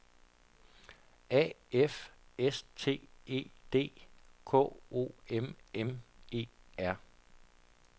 A F S T E D K O M M E R